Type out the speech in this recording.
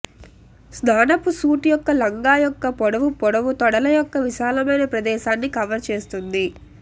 స్నానపు suit యొక్క లంగా యొక్క పొడవు పొడవు తొడల యొక్క విశాలమైన ప్రదేశాన్ని కవర్ చేస్తుంది